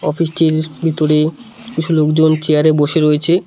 Office -টির ভিতরে কিছু লোকজন চেয়ার -এ বসে রয়েছে।